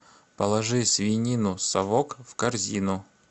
положи свинину совок в корзину